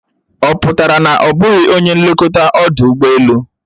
Ọ pụtara na ọ bụghị onye nlekọta ọdụ ụgbọelu?